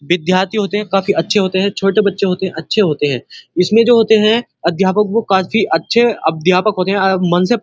विद्यार्थी होते हैं काफी अच्छे होते हैं। छोटे बच्चे होते हैं। अच्छे होते हैं। इसमें जो होते हैं अध्यापक वो काफी अच्छे अध्यापक होते हैं। मन से --